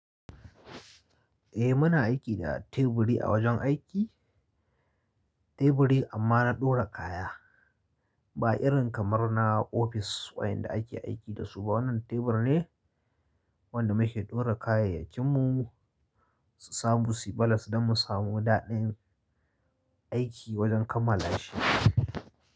Eh muna aiki da teburi a wajen aiki. Teburi amma na ɗora kaya, ba irin kamar na ofis wayanda ake aiki da su ba. Wannan tebur ne wanda muke ɗora kayayyakinmu, su samu suyi balas don mu samu daɗin aiki wajen kammala shi.